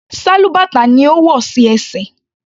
Sálúbàtà ni ó wò sí ẹsẹ̀.